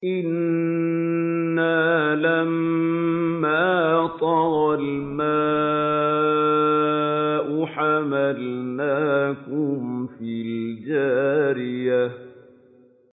إِنَّا لَمَّا طَغَى الْمَاءُ حَمَلْنَاكُمْ فِي الْجَارِيَةِ